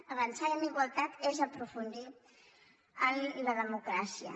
avançar en la igualtat és aprofundir en la democràcia